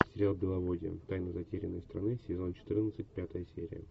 сериал беловодье тайны затерянной страны сезон четырнадцать пятая серия